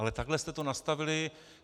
Ale takhle jste to nastavili.